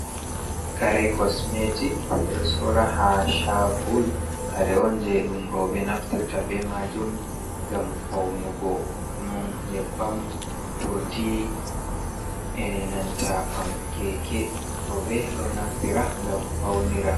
Kare kosmetik ɓeɗo sora ha shago kare on je ɗum rooɓe naftirta be majum ngam faunugo ɗon nyebbam, urdi enanta pam keke. Rooɓe ɗo naftira ngam faunira.